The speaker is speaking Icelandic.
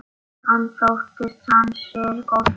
Hann þóttist ansi góður.